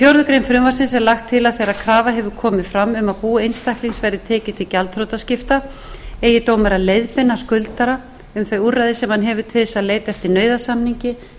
grein frumvarpsins er lagt til að þegar krafa hefur komið fram um að bú einstaklings verði tekið til gjaldþrotaskipta eigi dómari að leiðbeina skuldara um þau úrræði sem hann hefur til þess að leita eftir nauðasamningi eða